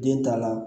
Den ta la